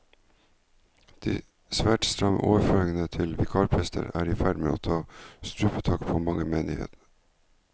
De svært stramme overføringer til vikarprester er i ferd med å ta strupetak på menighetene.